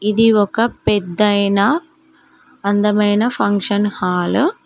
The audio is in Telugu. ఇది ఒక పెద్ద అయినా అందమైన ఫంక్షన్ హాల్ .